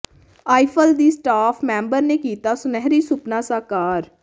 Eiffel ਦੀ staff member ਨੇ ਕੀਤਾ ਸੁਨਹਿਰੀ ਸੁਪਨਾ ਸਾਕਾਰ